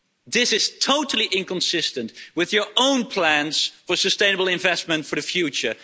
This is totally inconsistent with your own plans for sustainable investment for the future.